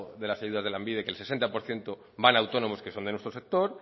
de las ayudas de lanbide que el sesenta por ciento van a autónomos que son de nuestro sector